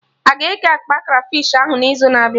Aga eke akpa Krafish ahụ na izu na-abịa?